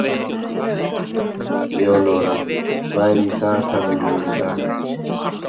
Leonóra, hvað er í dagatalinu mínu í dag?